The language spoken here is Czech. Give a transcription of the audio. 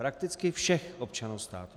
Prakticky všech občanů státu.